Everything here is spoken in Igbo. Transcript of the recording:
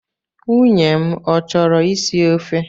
Nwunye m ọ chọrọ isi ofe?